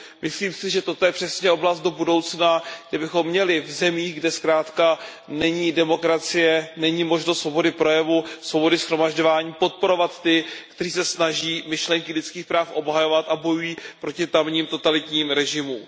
Myslím si, že toto je přesně oblast do budoucna, kde bychom měli v zemích, kde zkrátka není demokracie, není možnost svobody projevu, svobody shromažďování, podporovat ty, kteří se snaží myšlenky lidských práv obhajovat a bojují proti tamním totalitním režimům.